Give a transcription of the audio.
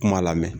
Kuma lamɛn